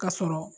Ka sɔrɔ